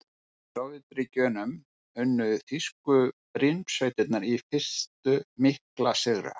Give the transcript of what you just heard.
Í Sovétríkjunum unnu þýsku brynsveitirnar í fyrstu mikla sigra.